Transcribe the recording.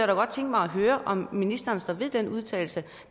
da godt tænke mig at høre om ministeren står ved den udtalelse